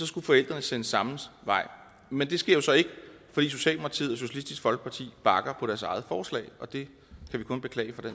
skulle forældrene sendes samme vej men det sker jo så ikke fordi socialdemokratiet og socialistisk folkeparti bakker af deres eget forslag og det kan vi kun beklage